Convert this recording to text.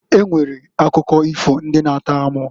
E nwere akụkọ ifo ndị na-atọ amụ.